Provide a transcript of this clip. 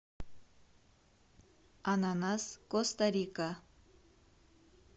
ананас коста рика